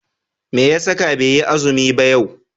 Meya saka baiyi azumi ba yau?